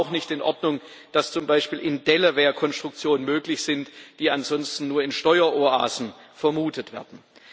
Und es ist auch nicht in Ordnung, dass zum Beispiel in Delaware Konstruktionen möglich sind, die ansonsten nur in Steueroasen vermutet werden.